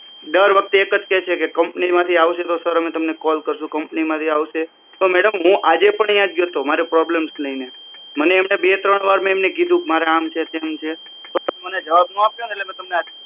દર વખતે એક જ કે છે કે કંપની માંથી આવશે તો સર અમે તમને કોલ કરશું કંપની માંથી આવશે તો મેડમ હું આજે પણ ત્યાં જ ગ્યો તો મારી પ્રોબ્લેમ લઈ ને બે ત્રણ વાર મે એમને કીધું મારે આમ છે તેમ છે પણ એમને જવાબ નો આપ્યો ને એટલે તમને આજ કોલ